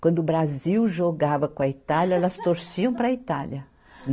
Quando o Brasil jogava com a Itália, elas torciam para a Itália.